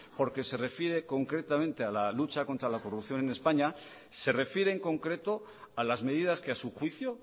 porque se refiere concretamente a la lucha contra la corrupción en españa se refiere en concreto a las medidas que a su juicio